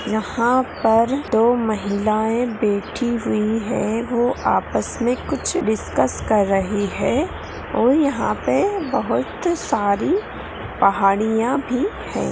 यहाँ पर दो महिलाएं बैठी हुई हैं वो आपस में कुछ डिस्कस कर रही हैं और यहाँ पे बहुत सारी पहाड़ियाँ भी है।